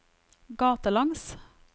gatelangs